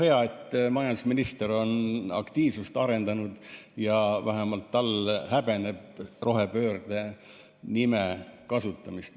Hea, et majandusminister on aktiivsust arendanud ja ta vähemalt häbeneb rohepöörde sõna kasutamist.